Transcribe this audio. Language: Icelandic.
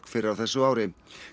fyrr á þessu ári